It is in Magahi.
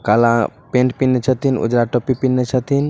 काला पेंट पहने छतिन उजरा टोपी पहने छतिन।